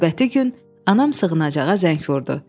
Növbəti gün anam sığınacağa zəng vurdu.